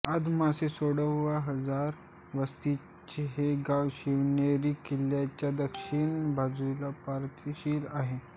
आदमासे साडेतीनहजार वस्तीचे हे गाव शिवनेरी किल्ल्याच्या दक्षीण बाजूस पायथ्याशी आहे